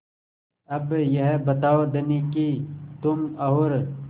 अब यह बताओ धनी कि तुम और